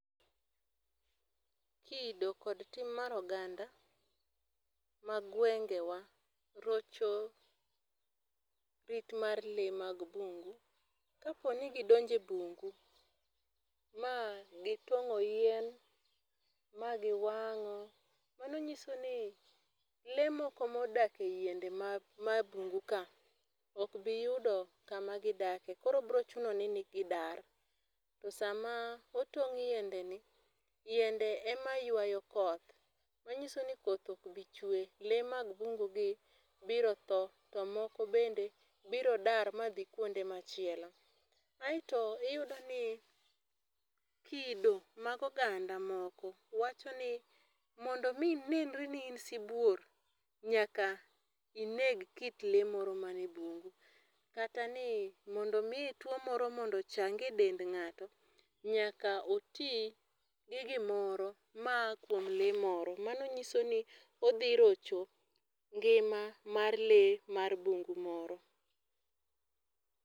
Kido kod tim mar oganda ma gwengewa, rocho rit mar le mag bungu. Ka po ni gidonjo e bungu, ma gitongó yien, ma giwango, mano nyiso ni le moko modak e yiende mag mae bungu ka ok bi yudo kama gidake. Koro biro chuno ni gidar. To sama otong' yiendeni, yiende ema ywayo koth. Manyiso ni koth ok bi chwe, le mag bungu gi biro tho, to moko bende biro dar ma dhi kuonde machielo. Aeto iyudo ni kido mag oganda moko wachoni, mondo imi inenri ni in sibuor, nyaka ineg kit le moro mani e bungu. Kata ni mondo omi two moro ochang e dend ngáto, nyaka oti gi gimoro maa kuom le moro. Mano nyiso ni, odhi rocho ngima mar le mar bungu moro.